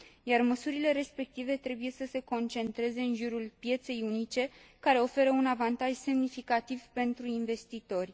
iar măsurile respective trebuie să se concentreze în jurul pieței unice, care oferă un avantaj semnificativ pentru investitori.